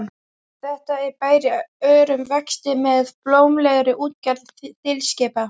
Þetta er bær í örum vexti með blómlegri útgerð þilskipa.